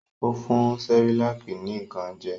Ó fun ní Cerelac nìkan jẹ?